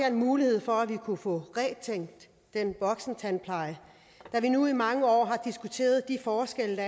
en mulighed for at vi kunne få gentænkt den voksentandpleje da vi nu i mange år har diskuteret de forskelle